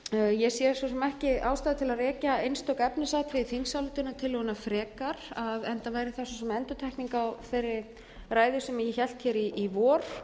ég sé svo sem ekki ástæðu til að rekja einstök efnisatriði þingsályktunartillögunnar frekar enda væri það svo sem endurtekning á þeirri ræðu sem ég hélt hér í vor